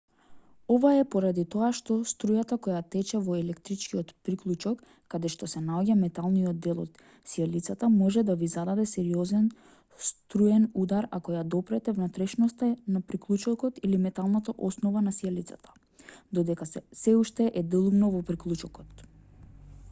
ова е поради тоа што струјата која тече во електричниот приклучок каде што се наоѓа металниот дел од сијалицата може да ви зададе сериозен струен удар ако ја допрете внатрешноста на приклучокот или металната основа на сијалицата додека сè уште е делумно во приклучокот